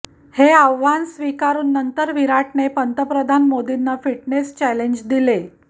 हे आव्हान स्वीकारून नंतर विराटने पंतप्रधान मोदींना फिटनेस चॅलेंज दिले